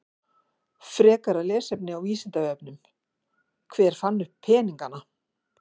Frekara lesefni á Vísindavefnum: Hver fann upp peningana?